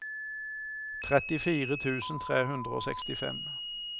trettifire tusen tre hundre og sekstifem